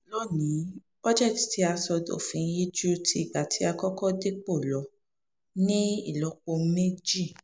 lóni-ín bọ́jẹ́ẹ̀tì tí a sọ dòfin yìí ju ti ìgbà tá a kọ́kọ́ dépò lọ ní ìlọ́po méjì